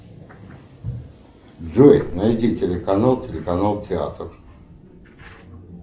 джой найди телеканал телеканал театр